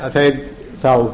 að þeir þá